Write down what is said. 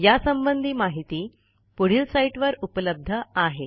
यासंबंधी माहिती पुढील साईटवर उपलब्ध आहे